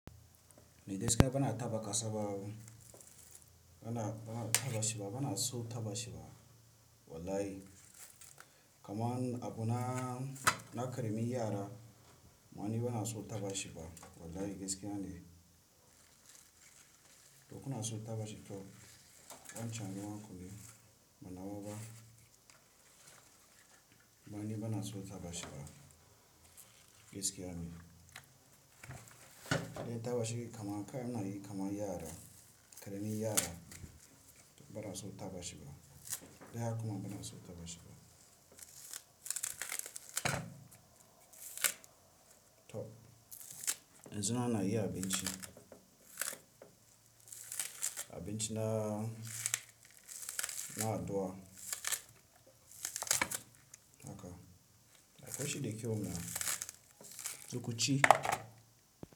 Naija ski yana taɓa kasa ba, bana, bana taɓa shi ba, bana so taɓa shi ba wallahi. Kaman abuna na karemin yara, amma ni bana so taɓa shi fa wallahi gaskiya ne. To kuna so taɓa shi to, ɗan canji ma ku ne, bana wa ba. Amma ni bana so taɓa shi fa gaskiya ne. Idan ya taɓa shi kama kai muna yi kaman yara, karamin yara bana so taɓa shi ba. Idan haka kuma bana so taɓa shi ba. To, yanzu ma ana yin abinci, abinci na, na addu'a haka. Dafashi da kyau mana, to kunci.